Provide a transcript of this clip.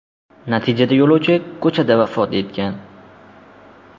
Natijada yo‘lovchi ko‘chada vafot etgan.